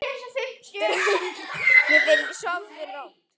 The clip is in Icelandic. Dreymi þig ljósið, sofðu rótt!